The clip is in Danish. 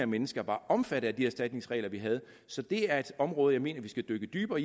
mennesker var omfattet af de erstatningsregler vi havde så det er et område jeg mener vi skal dykke dybere